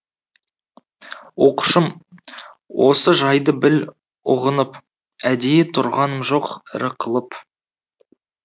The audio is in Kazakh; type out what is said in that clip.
оқушым осы жайды біл ұғынып әдейі тұрғаным жоқ ірі қылып